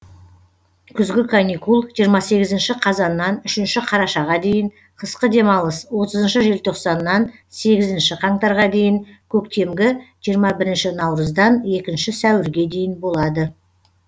күзгі каникул жиырма сегізінші қазаннан үшінші қарашаға дейін қысқы демалыс отызыншы желтоқсаннан сегізінші қаңтарға дейін көктемгі жиырма бірінші наурыздан екінші сәуірге дейін болады